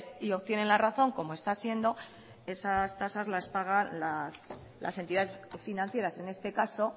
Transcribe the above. y obtienen la razón como está siendo esas tasas las paga las entidades financieras en este caso